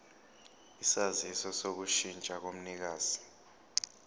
isaziso sokushintsha komnikazi